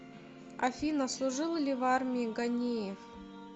афина служил ли в армии ганеев